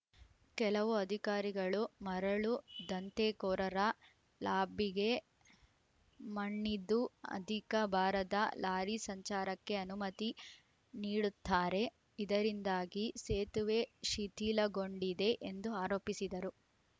ಕೆಲವು ಅಧಿಕಾರಿಗಳು ಮರಳು ದಂದೆಕೋರರ ಲಾಬಿಗೆ ಮಣಿದು ಅಧಿಕ ಬಾರದ ಲಾರಿ ಸಂಚಾರಕ್ಕೆ ಅನುಮತಿ ನೀಡುತ್ತಾರೆ ಇದರಿಂದಾಗಿ ಸೇತುವೆ ಶಿಥಿಲಗೊಂಡಿದೆ ಎಂದು ಆರೋಪಿಸಿದರು